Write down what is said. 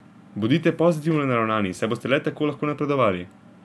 Bodite pozitivno naravnani, saj boste le tako lahko napredovali.